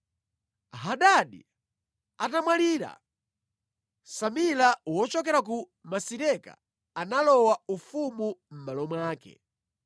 Hadadi atamwalira, Samila wochokera ku Masireka, analowa ufumu mʼmalo mwake.